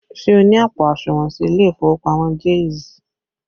Ṣé o ní àpò àsùnwọ̀n sí ilé ìfowópamọ́ Jaiz?